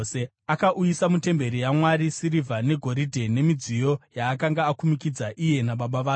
Akauyisa mutemberi yaMwari sirivha negoridhe nemidziyo yaakanga akumikidza iye nababa vake.